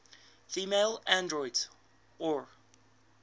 female androids or